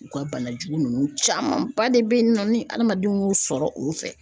U ka bana jugu ninnu caman ba de be yen nɔ ni adamadenw ye o sɔrɔ o fɛ